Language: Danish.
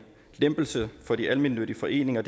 lempelse for de almennyttige foreninger